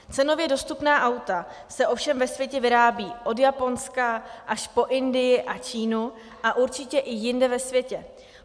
Cenově dostupná auta se ovšem ve světě vyrábějí od Japonska až po Indii a Čínu a určitě i jinde ve světě.